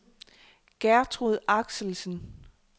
Gertrud Axelsen